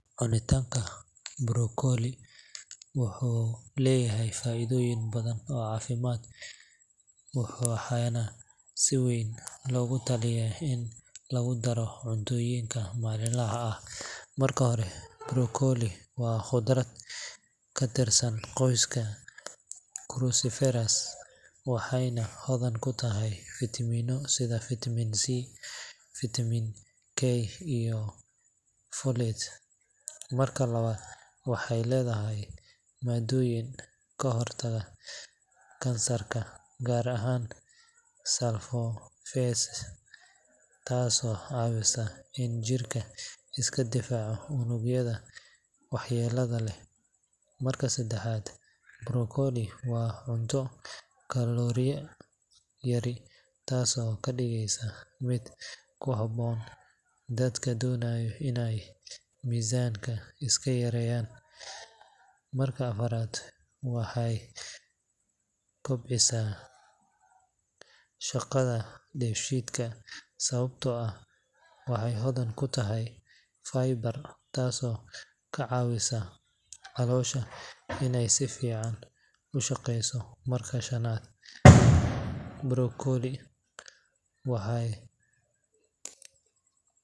Cuntitaanka broccoli wuxuu leeyahay faa’iidooyin badan oo caafimaad, waxaana si weyn loogu taliyaa in lagu daro cuntooyinka maalinlaha ah. Marka hore, broccoli waa khudaar ka tirsan qoyska cruciferous, waxayna hodan ku tahay fiitamiino sida vitamin C, vitamin K iyo folate. Marka labaad, waxay leedahay maaddooyin ka hortaga kansarka, gaar ahaan sulforaphane, taasoo caawisa in jirku iska difaaco unugyada waxyeellada leh. Marka saddexaad, broccoli waa cunto kalooriyo yari, taasoo ka dhigaysa mid ku habboon dadka doonaya inay miisaanka iska yareeyaan. Marka afaraad, waxay kobcisaa shaqada dheefshiidka sababtoo ah waxay hodan ku tahay fiber, taasoo ka caawisa caloosha inay si fiican u shaqayso. Marka shanaad, broccoli.